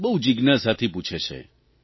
બહુ જીજ્ઞાસાથી પૂછે છે